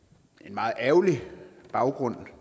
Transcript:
meget ærgerlig baggrunden